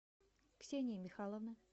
ксении михайловны